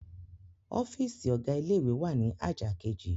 Ọ́fíísì ọ̀gá ilé-ìwé wà ní àjà kejì.